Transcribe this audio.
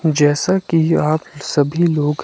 जैसा कि आप सभी लोग--